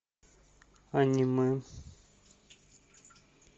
аниме